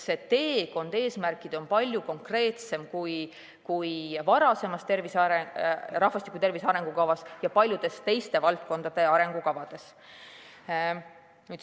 See teekond eesmärgini on palju konkreetsem kui varasemas rahvastiku tervise arengukavas ja paljude teiste valdkondade arengukavades.